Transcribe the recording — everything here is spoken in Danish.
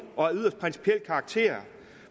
og af yderst principiel karakter